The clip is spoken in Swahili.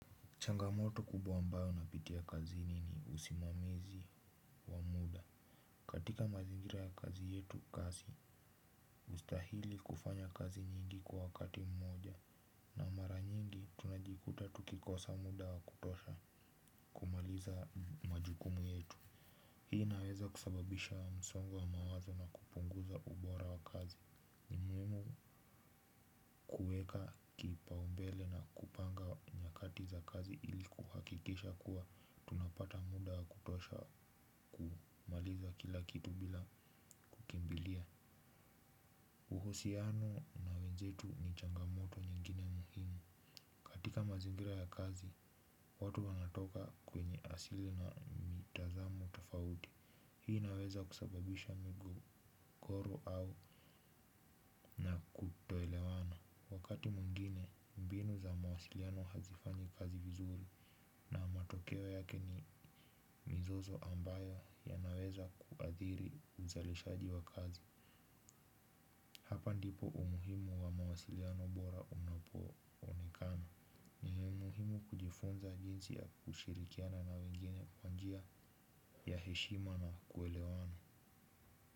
Changamoto kubwa ambayo napitia kazini ni usimamizi wa muda. Katika mazingira ya kazi yetu kazi hustahili kufanya kazi nyingi kwa wakati mmoja. Na mara nyingi tunajikuta tukikosa muda wa kutosha kumaliza majukumu yetu. Hii inaweza kusababisha wa msongo wa mawazo na kupunguza ubora wa kazi. Ni muhimu kuweka kipaumbele na kupanga nyakati za kazi ili kuhakikisha kuwa tunapata muda wa kutosha kumaliza kila kitu bila kukimbilia uhusiano na wenzetu ni changamoto nyingine muhimu katika mazingira ya kazi watu wanatoka kwenye asili na mitazamo tofauti hii inaweza kusababisha migogoro au kutoelewana, wakati mwingine mbinu za mawasiliano hazifanyi kazi vizuri. Na matokeo yake ni mizozo ambayo yanaweza kuadhiri uzalishaji wa kazi. Hapa ndipo umuhimu wa mawasiliano bora unapo onekana muhimu kujifunza jinsi ya kushirikiana na wengine kwa njia ya heshima na kuelewana.